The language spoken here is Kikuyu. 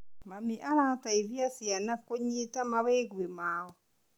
Mami araciteithia ciana kũnyitaa mawĩgwi mao.